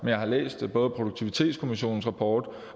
jeg har læst både produktivitetskommissionens rapport